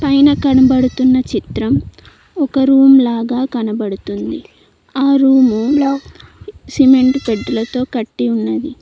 పైన కనబడుతున్న చిత్రం ఒక రూమ్ లాగా కనబడుతుంది ఆ రూము లో సిమెంట్ పెట్టెలతో కట్టి ఉన్నది.